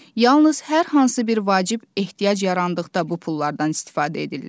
Yalnız hər hansı bir vacib ehtiyac yarandıqda bu pullardan istifadə edirlər.